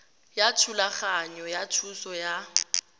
ya thulaganyo ya thuso ya